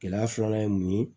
Gɛlɛya filanan ye mun ye